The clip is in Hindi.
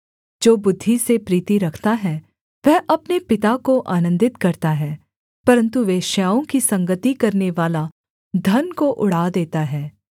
जो बुद्धि से प्रीति रखता है वह अपने पिता को आनन्दित करता है परन्तु वेश्याओं की संगति करनेवाला धन को उड़ा देता है